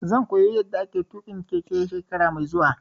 Zan koya yanda ake tuƙin keke shekara mai zuwa